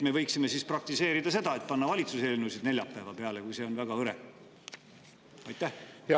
Me võiksime siis praktiseerida seda: panna valitsuse eelnõusid neljapäeva peale, kui see päev muidu oleks väga hõre.